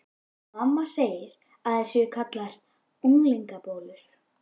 Mamma segir að þær séu kallaðar unglingabólur.